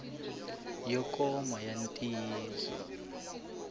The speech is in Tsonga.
yo koma ya ntiyiso xik